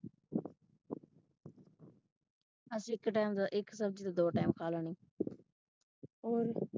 ਅਸੀਂ ਇੱਕ ਟਾਈਮ ਇੱਕ ਸਬਜੀ ਦੋ ਟਾਈਮ ਖਾ ਲੈਣੀ।